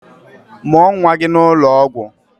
Mụọ nwa gị n'ụlọ ọgwụ!